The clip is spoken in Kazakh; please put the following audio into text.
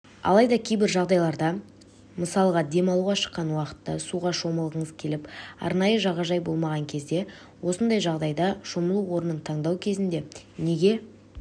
алайда кейбір жағдайларда мысалға демалуға шыққан уақытта суға шомылғыңыз келіп арнайы жағажай болмаған кезде осындай жағдайда шомылу орнын таңдау кезінде неге